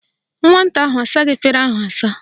Nwata ahụ asaghị efere ahụ asa